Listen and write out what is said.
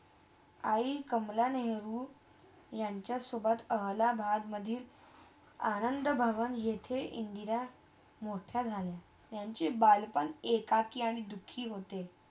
आई कमला नेहरू यांचा सोबत अलाहाबादमधे आनंद भवन इथे इंदिरा मोट्या झाल्या यांचे बालपण एकाकी आणि दुखी होते.